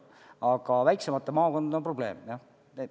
Aga väiksemate maakondadega on probleem jah.